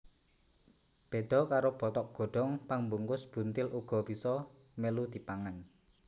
Béda karo bothok godhong pambungkus buntil uga bisa mèlu dipangan